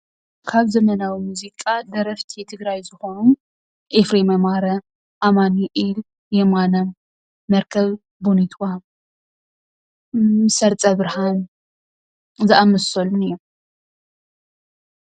ካብ ዘመናዊ ሙዝቃ ደረፍቲ ትግርይ ዝኮኑ ኤፍሬም ኣማረ፣ ኣማንኤል የማነ፣ መርከብ ቦኒትዋ፣ ሰርፀ ብርሃን ዝኣመሰሉን እዩም።